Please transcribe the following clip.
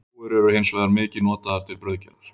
Rúgur eru hins vegar mikið notaðar til brauðgerðar.